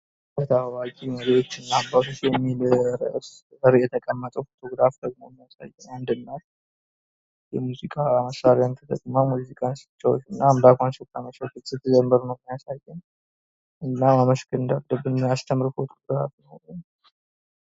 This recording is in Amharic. በታዋቂ መሬት እና የአባቶች በሚል ርዕስ የተቀመጠን ፎቶግራፍ የሚያሳይ አንድ እናት የሙዚቃ መሳሪያ ተጠቅማ አምላኳን ስታመሰግን እና ስትዘመር ነዉ የሚያሳየን እና አምላክን ማመስግን እንዳለብን ነዉ የሚያሳየን።